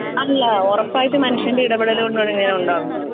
അല്ല ഒറപ്പായിട്ടും മനുഷ്യന്റെ ഇടപെടലുകൊണ്ടാണ് ഇങ്ങനെ ഉണ്ടാകുന്നത്.